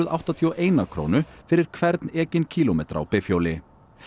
áttatíu og eina krónu fyrir hvern ekinn kílómetra á bifhjóli